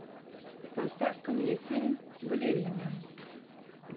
поставь ка мне фильм балерина